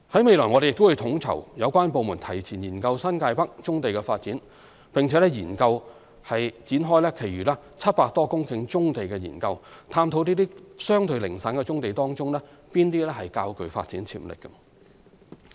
未來，我們亦會統籌有關部門提前研究新界北棕地的發展，並研究展開其餘700多公頃棕地的研究，探討這些相對零散的棕地當中哪些較具發展潛力。